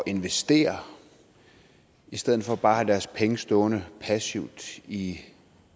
investere i stedet for bare at have deres penge stående passivt i